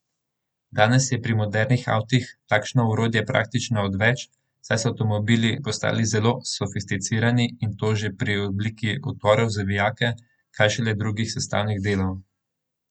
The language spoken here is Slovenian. Danes je pri modernih avtih takšno orodje praktično odveč, saj so avtomobili postali zelo sofisticirani in to že pri obliki utorov za vijake, kaj šele drugih sestavnih delih.